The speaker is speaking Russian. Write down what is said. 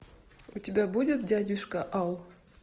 у тебя будет дядюшка ау